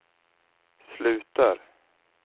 slutar